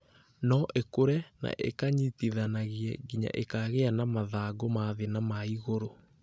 no ikũre na ikanyitithanagie nginya ikagĩa na mathangũ ma thĩ na ma igũrũ.